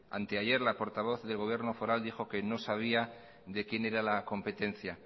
anteayer la portavoz del gobierno foral dijo que no sabía de quién era la competencia